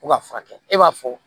Ko ka furakɛ e b'a fɔ